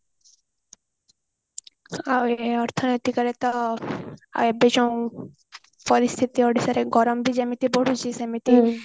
ଆଉ ଏ ଅର୍ଥନୈତିକ ରେ ତ ଏବେ ଯୋଉ ପରିସ୍ଥିତି ଓଡିଶା ରେ ଗରମ ବି ଯେମିତି ବଢିଛି ସେମିତି